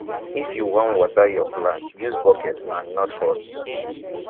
if you wan water yur plant use bucket and not hose